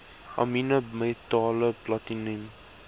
amiene metale platinum